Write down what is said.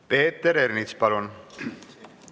Peeter Ernits, palun!